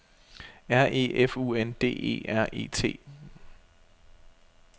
R E F U N D E R E T